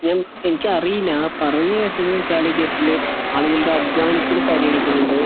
എനിക്ക് അറിയില്ല ഞാൻ പറഞ്ഞു കേട്ടത് കാലിക്കറ്റില് ആൾക്കാരുടെ അദ്വാനത്തിനു പരിഗണിക്കാനിണ്ട്